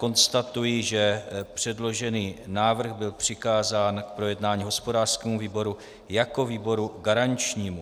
Konstatuji, že předložený návrh byl přikázán k projednání hospodářskému výboru jako výboru garančnímu.